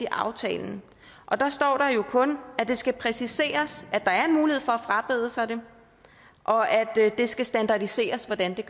i aftalen og der står der jo kun at det skal præciseres at der er en mulighed for at frabede sig det og at det skal standardiseres hvordan det